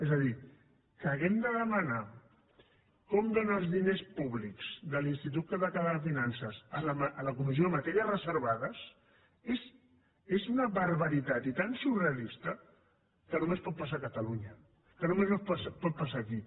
és a dir que hàgim de demanar com dóna els diners públics l’institut català de finances a la comissió de matèries reservades és una barbaritat i tan surrealista que només pot passar a catalunya que només pot passar aquí